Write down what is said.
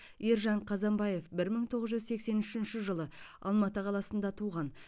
ержан қазанбаев бір мың тоғыз жүз сексен үшінші жылы алматы қаласында туған